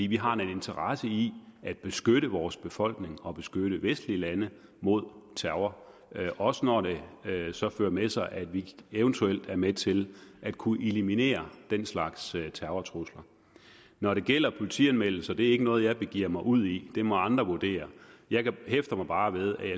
vi har en interesse i at beskytte vores befolkning og beskytte vestlige lande mod terror også når det så fører med sig at vi eventuelt er med til at kunne eliminere den slags terrortrusler når det gælder politianmeldelser er det ikke noget jeg begiver mig ud i det må andre vurdere jeg hæfter mig bare ved og